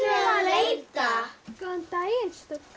að leita góðan daginn stúlkur